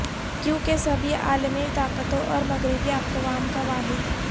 کیونکہ سبھی عالمی طاقتوں اور مغربی اقوام کا واحد